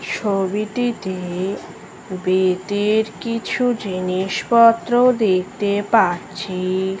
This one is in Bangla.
ছবিটিতে বেতের কিছু জিনিসপত্র দেখতে পাচ্ছি ।